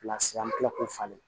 an bɛ tila k'o falen